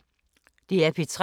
DR P3